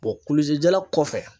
kulusi jala kɔfɛ.